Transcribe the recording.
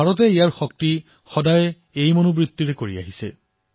ভাৰতে সদায়েই নিজৰ শক্তি এই ভাৱনাৰ সৈতে প্ৰয়োগ কৰিছে